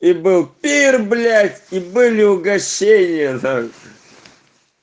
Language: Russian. и был пир блять и были угощения